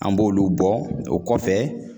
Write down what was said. An b'olu bɔ ,o kɔfɛ